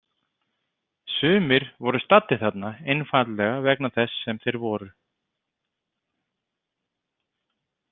Sumir voru staddir þarna einfaldlega vegna þess sem þeir voru.